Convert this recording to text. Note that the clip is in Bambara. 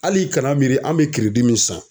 Hali kana miiri an bɛ min san.